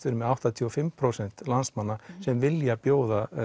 erum með áttatíu og fimm prósent landsmanna sem vilja bjóða